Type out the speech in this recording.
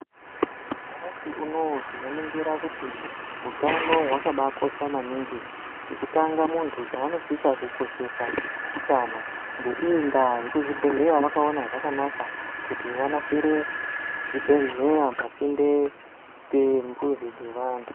Nyamashi unowu tinoningira kuti hutano hwakabakosha maningi chekutanga muntu chanosisa kukoshesa utano neiyi nda vemuzvibhedhleya vakaona zvakanaka kuti vanasire zvibhedhleya pasinde nemizi yevantu.